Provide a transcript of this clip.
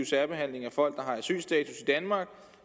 særbehandling af folk der har asylstatus i danmark